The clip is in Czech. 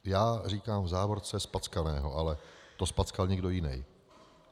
Já říkám v závorce zpackaného, ale to zpackal někdo jiný.